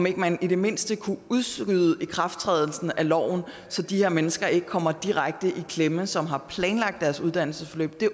at man i det mindste kunne udskyde ikrafttrædelsen af loven så de her mennesker ikke kommer direkte i klemme som har planlagt deres uddannelsesforløb